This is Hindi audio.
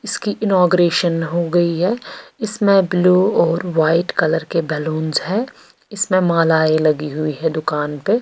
इसकी इनोगरेशन हो गई है इसमें ब्लू और वाइट कलर के बैलूनस है इसमें मालाई लगी हुई है दुकान पे--